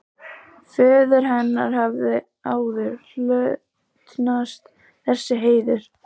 Föður hennar hafði áður hlotnast þessi heiður.